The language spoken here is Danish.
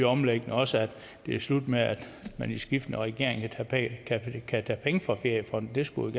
omlægningen også at det er slut med at man i skiftende regeringer kan tage penge fra feriefonden det skulle